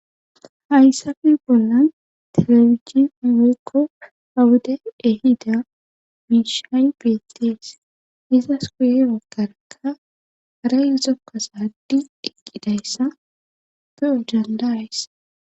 hayssafe bollan telebizhini woykko awude ehida miishay beettees izas guye bagarakka haray zokko zaaridi eqidaysa be'o danda'is